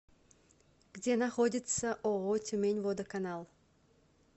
где находится ооо тюмень водоканал